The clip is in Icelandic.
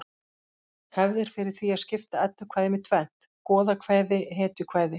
Hefð er fyrir því að skipta eddukvæðum í tvennt: goðakvæði hetjukvæði